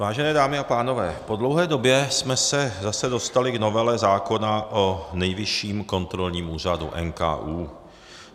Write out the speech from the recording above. Vážené dámy a pánové, po dlouhé době jsme se zase dostali k novele zákona o Nejvyšším kontrolním úřadu, NKÚ.